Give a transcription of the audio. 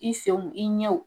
I senw , i ɲɛw,